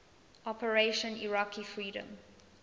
operation iraqi freedom